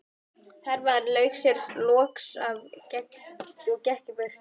Hermaðurinn lauk sér loks af og gekk í burtu.